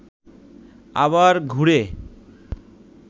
আবার ঘুরে